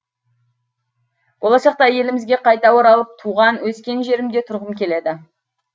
болашақта елімізге қайта оралып туған өскен жерімде тұрғым келеді